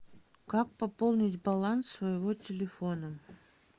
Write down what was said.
как пополнить баланс своего телефона